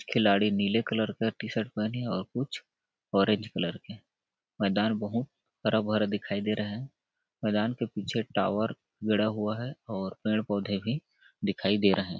खिलाड़ी नीले कलर का टी-शर्ट पेहने है और कुछ ऑरेंज कलर के मैदान बहुत हरा-भरा दिखाई दे रहा है मैदान के पीछे टावर गड़ा हुआ है और पेड़ -पौधे भी दिखाई दे रहे है।